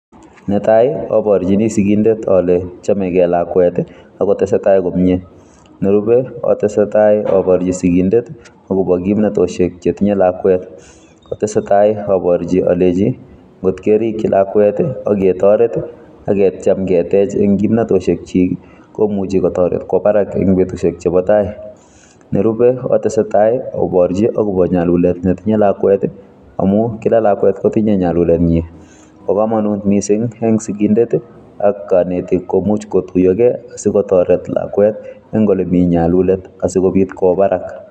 Ne tai, aborchini sigindet ale chamegei lakwet, akotesetai komyee. Nerubei, atesetai aborchi sigindet akobo kimnatoshek chetinye lakwet. Kotesetai aborchi alechi, ngot kerikchi lakwet aketoret, aketiem ketej eng' kimnatosiek chik, komuchi kotoret kwo barak eng' betusiek chebo tai. Nerube, ko atesetai aborchi akobo nyalulet netinye lakwet, amuu kila lakwet kotinye nyalulet nyi. Bo komonut missing eng' sigindet ak kanetik, komuch kotuyogei, asikotoret lakwet eng' ole mii nyalulet, asikobit kwo barak.